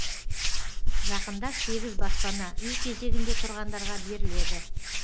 жақында сегіз баспана үй кезегінде тұрғандарға беріледі